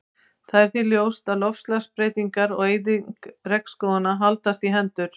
Það er því ljóst að loftslagsbreytingar og eyðing regnskóganna haldast í hendur.